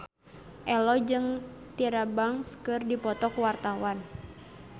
Ello jeung Tyra Banks keur dipoto ku wartawan